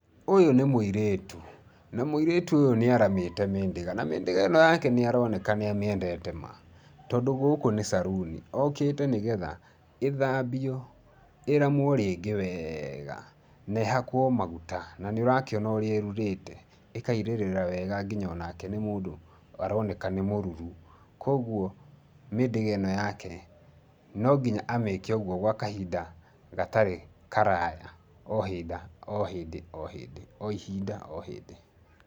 Ũyũ nĩ mũirĩtu. Na mũirĩtu ũyũ nĩ aramĩte mĩndĩga na mĩndĩga ĩno yake nĩ aroneka nĩ amĩendete ma, tondũ gũkũ nĩ caruni. Okĩte nĩgetha ĩthambio, ĩramwo rĩngĩ wega, na ĩhakwo maguta. Na nĩ ũrakĩona ũrĩa ĩrurĩte, ĩkairĩrĩra wega nginya o nake aroneka nĩ mũruru. Koguo mĩndĩga ĩno yake rĩ, no nginya amĩke ũguo gwa kahinda gatarĩ karaya o hinda o hindĩ o hĩndĩ, o ihinda o hĩndĩ.